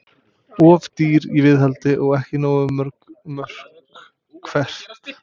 Of dýr í viðhaldi og ekki nógu mörg mörk Hvert?